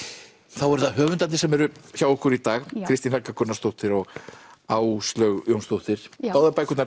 þá eru það höfundarnir sem eru hjá okkur í dag Kristín Helga Gunnarsdóttir og Áslaug Jónsdóttir báðar bækurnar